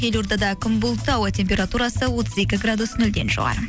елордада күн бұлтты ауа температурасы отыз екі градус нөлден жоғары